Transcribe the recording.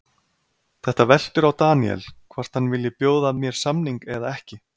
Þetta veltur á Daniel, hvort hann vilji bjóða mér samning eða ekki?